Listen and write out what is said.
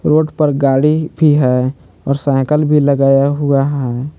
Road पर गाड़ी भी है। और साइकल भी लगाया हुआ है।